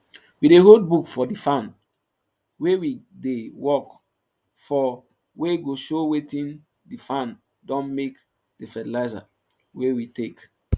we dey hold book for di farm wey we dey work for wey go show wetin di farm don make di fertilizer wey we take